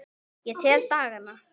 Ég tel dagana.